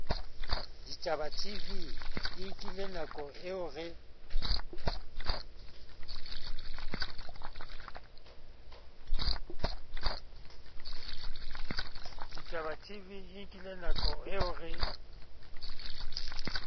ditabatv e nkilenako eo re